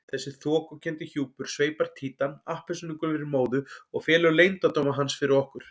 Þessi þokukenndi hjúpur sveipar Títan appelsínugulri móðu og felur leyndardóma hans fyrir okkur.